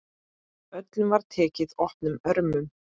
Öllum var tekið opnum örmum.